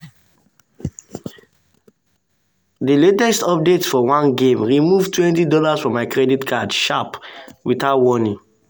her cousin give her free loan make she fit pay unexpected hospital bill.